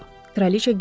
Kraliçə güldü.